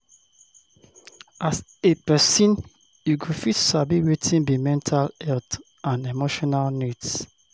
As a person you go first sabi wetin be mental health and emotional needs